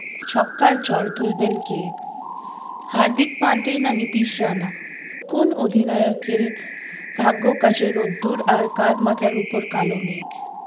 ছক্কার ঝড় তুলবেন কে হার্দিক পান্ডে না নীতিশ রানা কোন অধিনায়কের ভাগ্য কাছে রোদ্দুর আর কার মাথার উপর কালো মেঘ